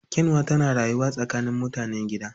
Kyanwa tana rayuwa tsakanin mutanen gida